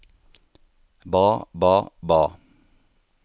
ba ba ba